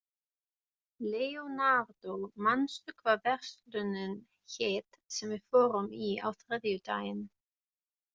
Leonardó, manstu hvað verslunin hét sem við fórum í á þriðjudaginn?